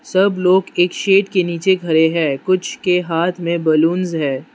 सब लोग एक शेड के नीचे खड़े हैं कुछ के हाथ में बलूंस है।